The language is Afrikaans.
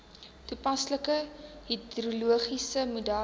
toepaslike hidrologiese modelle